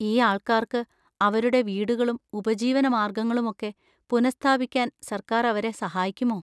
ഈ ആൾക്കാർക്ക് അവരുടെ വീടുകളും ഉപജീവനമാർഗങ്ങളുമൊക്കെ പുനഃസ്ഥാപിക്കാൻ സർക്കാർ അവരെ സഹായിക്കുമോ?